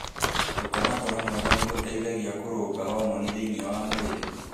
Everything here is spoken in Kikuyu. Gũkoma toro mwega nĩ gũteithagia kũrũnga homoni thĩinĩ wa mwĩrĩ.